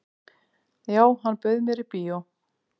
"""Já, hann bauð mér í bíó."""